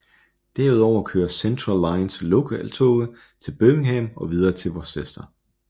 Derudover kører Central Lines lokaltoge til Birmingham og videre til Worcester